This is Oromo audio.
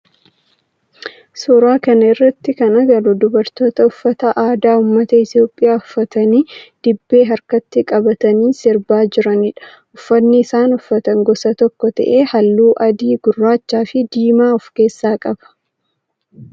Suuraa kana irratti kan agarru dubartoota uffata aadaa ummata Itiyoophiyaa uffatanii dibbee harkatti qabatanii sirbaa jiranidha. Uffanni isaan uffatan gosa tokko ta'ee halluu adii, gurraacha fi diimaa of keessaa qaba.